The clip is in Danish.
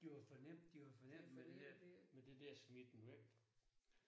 Der har for nemt de har for nemt med det der med der der smiden væk